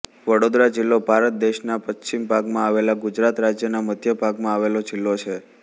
વડોદરા જિલ્લો ભારત દેશના પશ્ચિમ ભાગમાં આવેલા ગુજરાત રાજ્યના મધ્ય ભાગમાં આવેલો જિલ્લો છે